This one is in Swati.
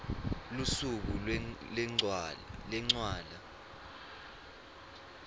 lusuku lwencwala